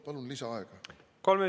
Palun lisaaega!